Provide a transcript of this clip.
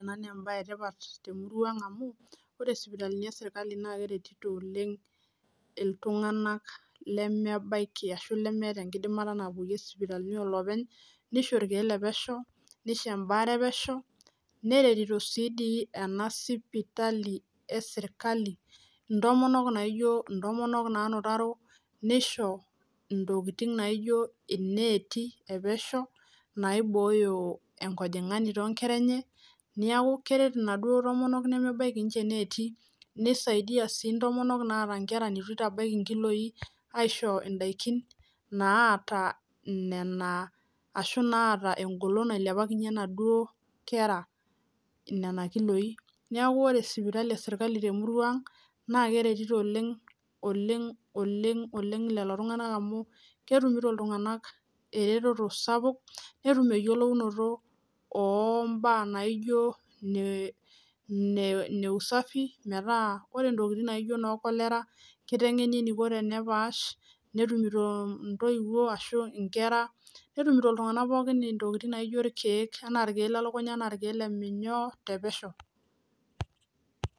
Ena nembaye etipat temurua ang amu ore isipitalini esirkali naa keretito oleng iltung'anak lemebaiki ashu lemeeta enkidimata napuoyie isipitalini oloopeny nisho irkeek le pesho nisho embaare epesho neretito sii dii ena sipitali esirkali intomonok naijio intomonok nanutaro nisho intokiting naijio ineeti epesho naibooyo enkojing'ani toonkera enye niaku keret inaduo tomonok nemebaiki inche ineeti nisaidia sii intomonok naata inkera netu itabaiki inkiloi aisho indaikin naata inena ashu naata engolon nailepakinyie inaduo kera nena kiloi niaku ore sipitali esirkali temurua ang naa keretito oleng oleng oleng lelo tung'anak amu ketumito iltung'anak ereteto sapuk netum eyiolounotop oh imbaa naijio ine ine usafi metaa ore intokitin naijio inoo cholera kiteng'eni eniko tenepaash netumito intoiwuo ashu inkera netumito iltung'anak pookin intokiting naijio irkeek enaa irkeek lelukunya anaa irkeek le minyoo te pesho.